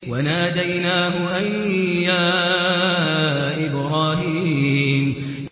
وَنَادَيْنَاهُ أَن يَا إِبْرَاهِيمُ